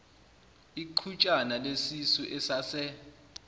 iqhutshana lesisu esase